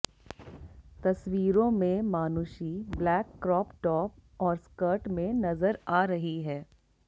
तस्वीरों में Manushi black crop top और स्कर्ट में नजर आ रही है